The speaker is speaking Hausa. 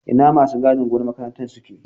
Ina masu gadin gonar makarantar suke?